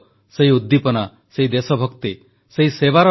• fit ଇଣ୍ଡିଆକୁ ସ୍ୱଭାବରେ ପରିଣତ କରିବା ପାଇଁ ପ୍ରଧାନମନ୍ତ୍ରୀଙ୍କ ଆହ୍ୱାନ